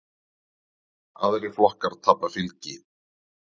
Aðrir flokkar tapa fylgi.